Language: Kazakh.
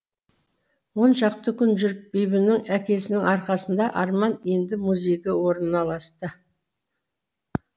он шақты күн жүріп бибінің әкесінің арқасында арман енді музейге орналасты